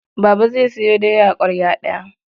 Baba zai sayo doya ƙwarya ɗaya.